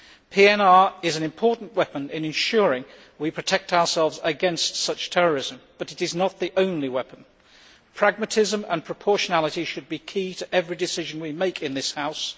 PNR is an important weapon in ensuring we protect ourselves against such terrorism, but it is not the only weapon pragmatism and proportionality should be key to every decision we make in this House